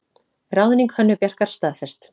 Ráðning Hönnu Bjarkar staðfest